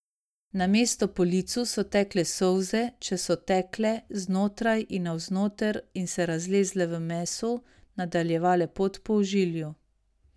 Namesto po licu so tekle solze, če so tekle, znotraj in navznoter in se razlezle v mesu, nadaljevale pot po ožilju.